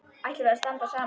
Ætlum við að standa saman?